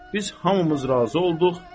Biz hamımız razı olduq.